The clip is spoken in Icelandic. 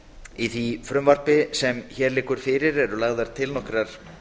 í því frumvarpi sem hér liggur fyrir eru lagðar til nokkrar